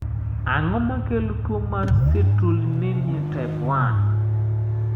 Ang`o makelo tuo mar citrullinemia type I?